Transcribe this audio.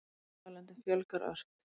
Mótmælendum fjölgar ört